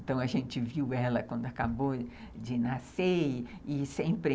Então, a gente viu ela quando acabou de nascer e e sempre...